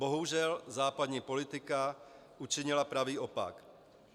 Bohužel, západní politika učinila pravý opak.